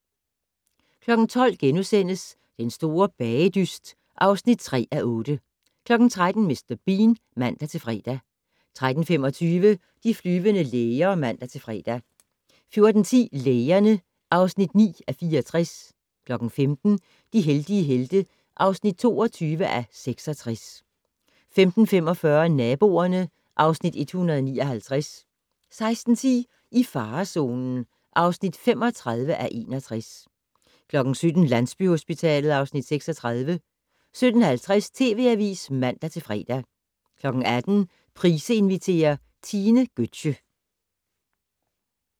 12:00: Den store bagedyst (3:8)* 13:00: Mr. Bean (man-fre) 13:25: De flyvende læger (man-fre) 14:10: Lægerne (9:64) 15:00: De heldige helte (22:66) 15:45: Naboerne (Afs. 159) 16:10: I farezonen (35:61) 17:00: Landsbyhospitalet (Afs. 36) 17:50: TV Avisen (man-fre) 18:00: Price inviterer - Tine Götzsche